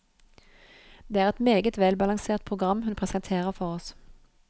Det er et meget velbalansert program hun presenterer for oss.